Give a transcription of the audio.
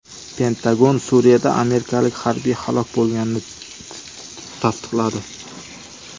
Pentagon Suriyada amerikalik harbiy halok bo‘lganini tasdiqladi.